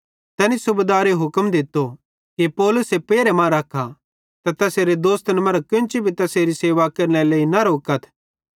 तैनी सूबेदारे हुक्म दित्तो कि पौलुसे पेरहे मां रख्खा ते तैसेरे दोस्तन मरां केन्ची भी तैसेरी सेवा केरनेरे लेइ न रोकथ